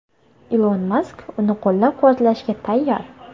Ilon Mask uni qo‘llab-quvvatlashga tayyor.